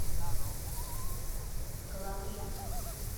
кологрив